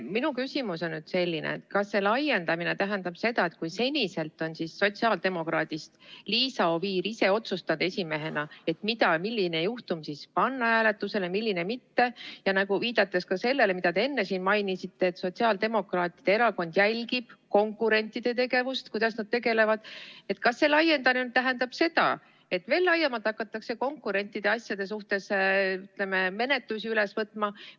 Minu küsimus on selline: kas see laiendamine tähendab seda, et kui seni on sotsiaaldemokraadist Liisa Oviir ise otsustanud esimehena, milline juhtum panna hääletusele, milline mitte, ja viidates ka sellele, mida te enne mainisite, et sotsiaaldemokraatide erakond jälgib konkurentide tegevust, siis kas laiendamine tähendab seda, et veel laiemalt hakatakse konkurentide asjade suhtes menetlusi ette võtma?